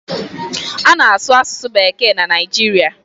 A na-asụ asụsụ bekee na Naijiria.